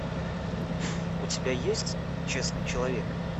у тебя есть честный человек